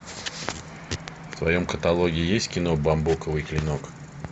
в твоем каталоге есть кино бамбуковый клинок